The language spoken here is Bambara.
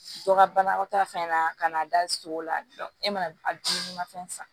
Dɔ ka banakɔta fɛn na ka na da so la e mana dumuni fɛn san